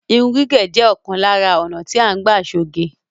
Irun gígẹ̀ jẹ́ òkan lárá ònà tí à ń gbà ṣoge.